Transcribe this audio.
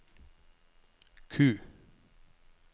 Q